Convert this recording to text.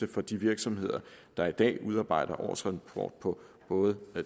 for de virksomheder der i dag udarbejder årsrapport på både